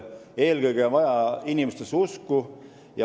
Eelkõige on vaja usku inimestesse.